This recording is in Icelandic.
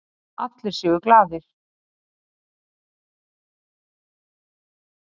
Allir séu glaðari.